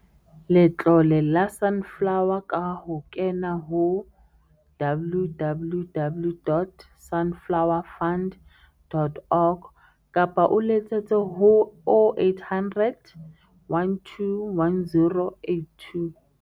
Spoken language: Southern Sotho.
Letlole la Sunflower ka ho kena ho www.sunflowefund.org kapa o letsetse ho 0800 12 10 82.